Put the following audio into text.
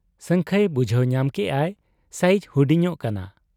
ᱥᱟᱹᱝᱠᱷᱟᱹᱭ ᱵᱩᱡᱷᱟᱹᱣ ᱧᱟᱢ ᱠᱮᱜ ᱟᱭ ᱥᱟᱭᱤᱡᱽ ᱦᱩᱰᱤᱧᱚᱜ ᱠᱟᱱᱟ ᱾